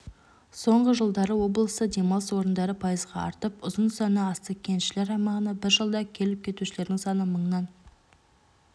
соңғы жылдары облыста демалыс орындары пайызға артып ұзынсаны асты кеншілер аймағына бір жылда келіп-кетушілердің саны мыңнан